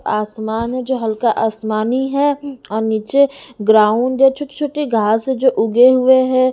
आसमान है जो हल्का आसमानी है और नीचे ग्राउंड है छोटी-छोटी घास है जो उगे हुए हैं।